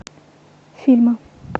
фильмы